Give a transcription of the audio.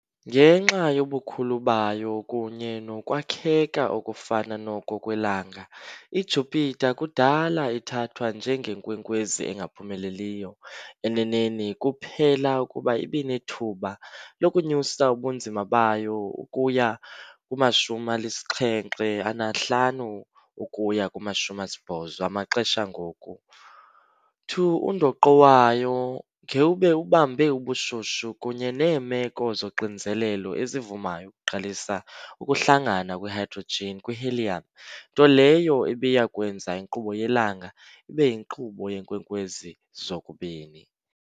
Ngenxa yobukhulu bayo kunye nokwakheka okufana noko kweLanga, iJupiter kudala ithathwa njenge " nkwenkwezi engaphumeleliyo "- eneneni kuphela ukuba ibinethuba lokunyusa ubunzima bayo ukuya kuma-75-80 amaxesha angoku 2 undoqo wayo ngewube ubambe ubushushu kunye neemeko zoxinzelelo ezivumayo ukuqalisa ukuhlangana kwe-hydrogen kwi-helium, nto leyo ebiya kwenza inkqubo yelanga ibe yinkqubo yeenkwenkwezi zokubini.